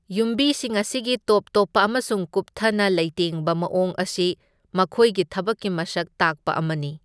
ꯌꯨꯝꯕꯤꯁꯤꯡ ꯑꯁꯤꯒꯤ ꯇꯣꯞ ꯇꯣꯞꯄ ꯑꯃꯁꯨꯡ ꯀꯨꯞꯊꯅ ꯂꯩꯇꯦꯡꯕ ꯃꯑꯣꯡ ꯑꯁꯤ ꯃꯈꯣꯏꯒꯤ ꯊꯕꯛꯀꯤ ꯃꯁꯛ ꯇꯥꯛꯄ ꯑꯃꯅꯤ꯫